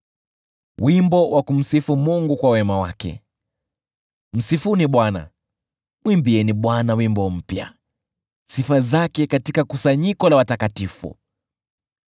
Msifuni Bwana . Mwimbieni Bwana wimbo mpya, sifa zake katika kusanyiko la watakatifu.